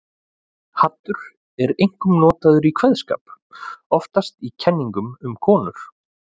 Haddur er einkum notað í kveðskap, oftast í kenningum um konur.